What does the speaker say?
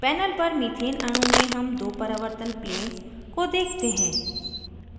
panel पर methane अणु में हम दो परावर्तन planes को देखते हैं